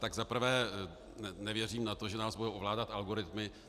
Za prvé nevěřím na to, že nás budou ovládat algoritmy.